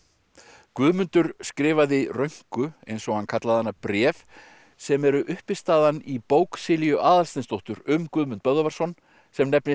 Guðmundur skrifaði eins og hann kallaði hana bréf sem eru uppistaðan í bók Silju Aðalsteinsdóttur um Guðmund Böðvarsson sem nefnist